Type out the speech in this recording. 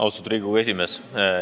Austatud Riigikogu esimees!